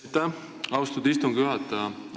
Aitäh, austatud istungi juhataja!